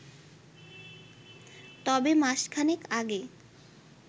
তবে মাস খানেক আগে